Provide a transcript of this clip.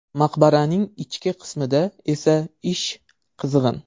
Maqbaraning ichki qismida esa ish qizg‘in.